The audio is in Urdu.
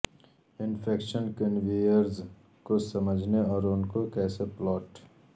انفیکشن کنویرز کو سمجھنے اور ان کو کیسے پلاٹ